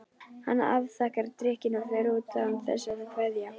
Hann afþakkar drykkinn og fer út án þess að kveðja.